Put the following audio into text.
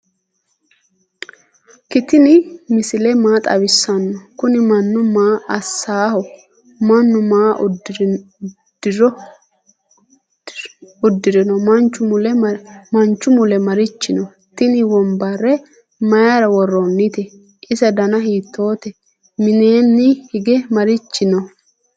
ktini misile maa xawisano? kuni manu maa asaho ?manu maa udirino manchu mule marichi no?tini wonbare mayira woronite? ise dana hitote? mineni hige marichi no?